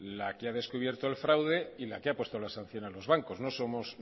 la que ha descubierto el fraude y la que ha puesto la sanción a los bancos no somos